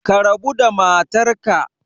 Ka rabu da matarka